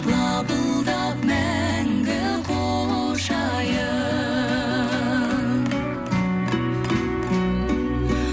лапылдап мәңгі құшайын